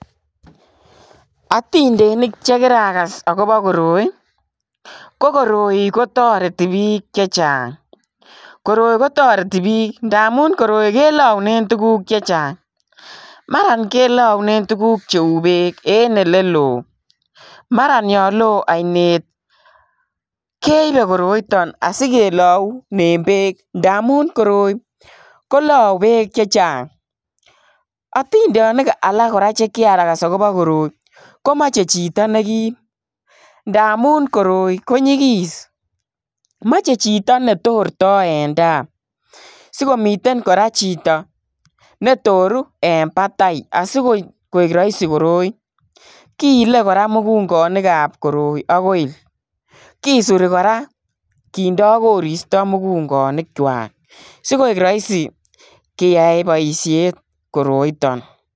Atindeniik che kiragas agobo koroi ii ko koroi ko taretii biik chechaang koroi ko taretii biik ndamuun koroi kelauneen tuguuk chechaang mara kelauneen tuguuk che uu beek mara yaan loo ainet keibee koroitaan asikelauneen beek ndamuun koroi ko lauu beek chechaang atindeniik alaak kora che kiragas agobo koroi ko machei chitoo nekiim ndamuun koroi ko nyigis machei chitoo netortai en tai sikomiteen kora chitoo ne toruu en batai asikoek raisi koroi kiile kora mukunganiik ab koroi kora kisurii kora kindaa koristoi mukunganiik kwaak sikoek raisi keyai en bosiet koroitaan.